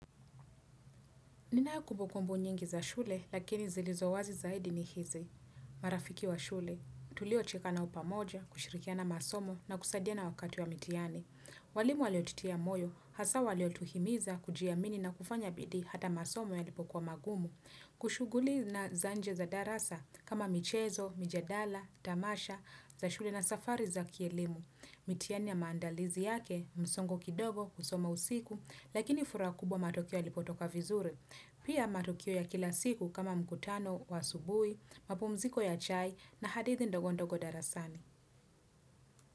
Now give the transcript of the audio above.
Nina kubukumbu nyingi za shule, lakini zilizowazi zaidi ni hizi. Marafiki wa shule, tulio cheka nao pamoja, kushirikiana masomo na kusadiana wakati wa mitiani. Walimu waliotitia moyo, hasa waliotuhimiza, kujiamini na kufanya bidii hata masomo yalipo kuwa magumu. Kushuguli na zanje za darasa, kama michezo, mjadala, tamasha, za shule na safari za kielimu. Mitiani ya maandalizi yake, msongo kidogo, kusoma usiku, lakini furaha kubwa matokeo yalipo toka vizuri. Pia matukio ya kila siku kama mkutano wa asubui, mapumziko ya chai na hadithi ndogo ndogo darasani.